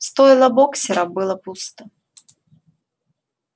стойло боксёра было пусто